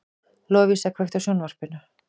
Lovísa, kveiktu á sjónvarpinu.